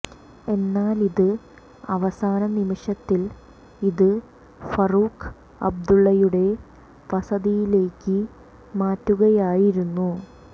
എന്നാൽ ഇത് അവസാന നിമിഷത്തിൽ ഇത് ഫറൂഖ് അബ്ദുള്ളയുടെ വസതിയിലേക്ക് മാറ്റുകയായിരുന്നു